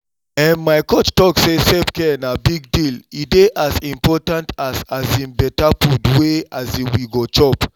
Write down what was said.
ehn my coach talk say self-care na big deal e dey as important as um better food wey um we go chop.